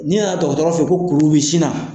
Ni nana dɔgɔtɔɔrɔ fɛ yen ko kuru bi sinna.